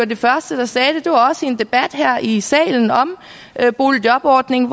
de første der sagde det og det var også en debat her i salen om boligjobordningen